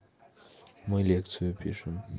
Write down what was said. мы лекцию пишим